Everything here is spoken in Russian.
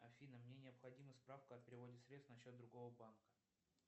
афина мне необходима справка о переводе средств на счет другого банка